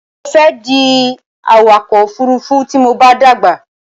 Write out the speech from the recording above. Mo fẹ́ di awakọ̀ òfurufú tí mo bá dàgbà.